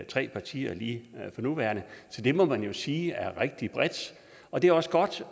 tre partier lige for nuværende så det må man jo sige er rigtig bredt og det er også godt